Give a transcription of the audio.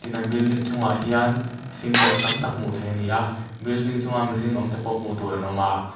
in an building chungah hian cintex tam tak hmuh theih a ni a building chungah mihring awm te pawh hmuh tur an awm a.